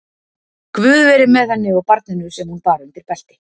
Guð veri með henni og barninu sem hún bar undir belti.